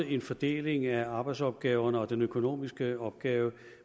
en fordeling af arbejdsopgaverne og den økonomiske opgave